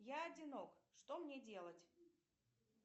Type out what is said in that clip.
я одинок что мне делать